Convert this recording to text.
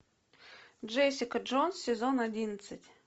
джессика джонс сезон одиннадцать